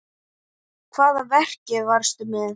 Hvaða verki varstu með?